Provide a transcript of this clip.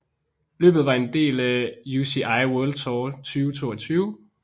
Løbet var en del af UCI World Tour 2022